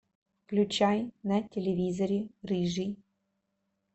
включай на телевизоре рыжий